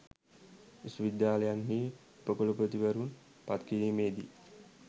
විශ්වවිද්‍යාලයන්හි උපකුලපතිවරුන් පත්කිරීමේ දී